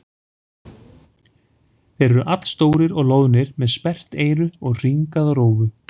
Þeir eru allstórir og loðnir með sperrt eyru og hringaða rófu.